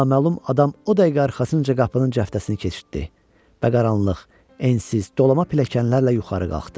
Naməlum adam o dəqiqə arxasınca qapının cəftəsini keçirtdi və qaranlıq, ensiz, dolama pilləkənlərlə yuxarı qalxdıq.